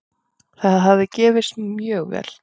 Það hafi gefist mjög vel.